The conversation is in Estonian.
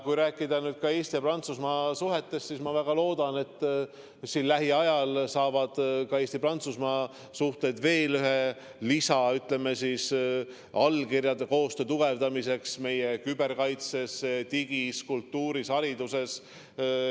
Kui rääkida Eesti ja Prantsusmaa suhetest, siis ma väga loodan, et siin lähiajal saavad ka Eesti-Prantsusmaa suhteid veel ühe lisa: allkirjad koostöö tugevdamiseks meie küberkaitses, digis, kultuuris ja hariduses.